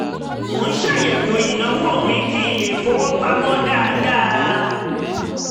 mo ń ṣàyẹ̀wò ìnáwó mi kí n lè fowó pamọ́ dáadáa